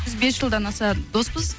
біз бес жылдан аса доспыз